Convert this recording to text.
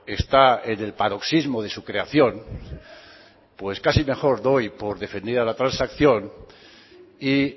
está en el paroxismo de su creación pues casi mejor doy por defendida la transacción y